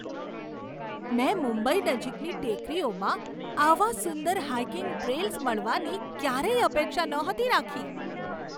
મેં મુંબઈ નજીકની ટેકરીઓમાં આવા સુંદર હાઇકિંગ ટ્રેલ્સ મળવાની ક્યારેય અપેક્ષા નહોતી રાખી.